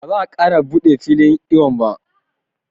Ba za a ƙara buɗe filin iwon ba